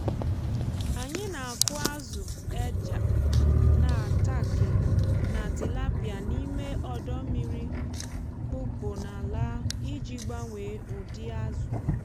anyị na-akụ azụ eja n’atankị na tilapia n’ime ọdọ mmiri kpụpụ n’ala iji gbanwee ụdị azụ.